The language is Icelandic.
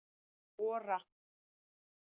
Ora